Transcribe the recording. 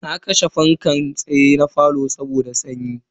Na kashe fankan tsaye na falo saboda sanyi.